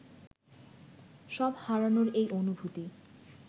সব হারানোর এই অনুভূতি